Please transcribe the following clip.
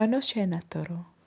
Mwana ũcio ena toro